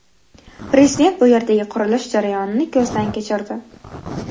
Prezident bu yerdagi qurilish jarayonini ko‘zdan kechirdi.